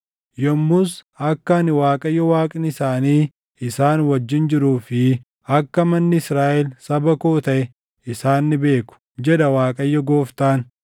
Yommus akka ani Waaqayyo Waaqni isaanii isaan wajjin jiruu fi akka manni Israaʼel saba koo taʼe isaan ni beeku, jedha Waaqayyo Gooftaan.